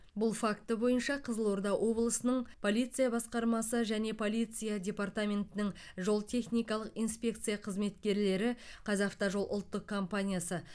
бұл факті бойынша қызылорда облысының полиция басқармасы және полиция департаментінің жол техникалық инспекция қызметкерлері қазавтожол ұлттық компаниясы